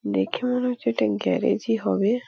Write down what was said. দেখে মনে হচ্ছে এটা গ্যারেজ ই হবে।